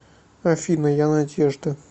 афина я надежда